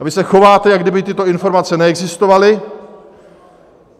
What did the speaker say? A vy se chováte, jako kdyby tyto informace neexistovaly.